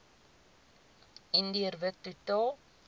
indiër wit totaal